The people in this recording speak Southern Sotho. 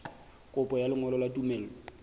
kopo ya lengolo la tumello